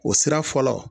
O sira fɔlɔ